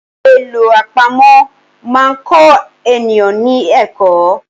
Àlọ́ àpamọ̀ máa kọ èèyàn ní ẹ̀kọ́.